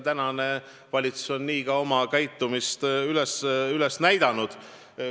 Tänane valitsus on nii ka oma käitumisega näidanud.